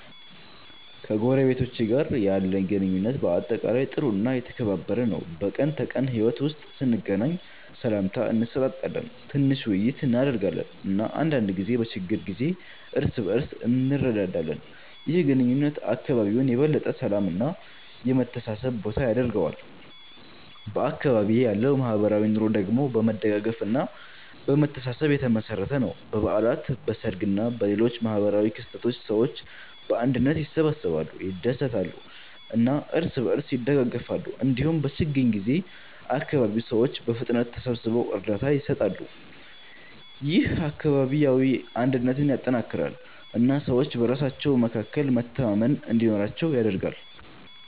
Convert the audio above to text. ከጎረቤቶቼ ጋር ያለኝ ግንኙነት በአጠቃላይ ጥሩ እና የተከባበረ ነው። በቀን ተቀን ሕይወት ውስጥ ስንገናኝ ሰላምታ እንሰጣጣለን፣ ትንሽ ውይይት እናደርጋለን እና አንዳንድ ጊዜ በችግር ጊዜ እርስ በእርስ እንረዳዳለን። ይህ ግንኙነት አካባቢውን የበለጠ የሰላም እና የመተሳሰብ ቦታ ያደርገዋል። በአካባቢዬ ያለው ማህበራዊ ኑሮ ደግሞ በመደጋገፍ እና በመተሳሰብ የተመሠረተ ነው። በበዓላት፣ በሰርግ እና በሌሎች ማህበራዊ ክስተቶች ሰዎች በአንድነት ይሰበሰባሉ፣ ይደሰታሉ እና እርስ በእርስ ይደጋገፋሉ። እንዲሁም በችግኝ ጊዜ አካባቢው ሰዎች በፍጥነት ተሰብስበው እርዳታ ይሰጣሉ። ይህ አካባቢያዊ አንድነትን ያጠናክራል እና ሰዎች በራሳቸው መካከል መተማመን እንዲኖር ያደርጋል።